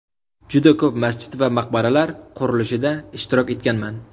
Juda ko‘p masjid va maqbaralar qurilishida ishtirok etganman.